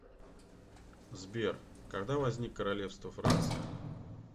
сбер когда возник королевство франция